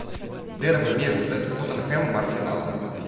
дерби между тоттенхэмом и арсеналом